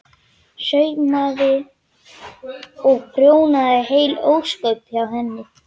Saumaði og prjónaði heil ósköp hjá henni.